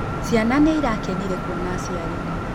Cĩana nĩirakenire kũona aciari.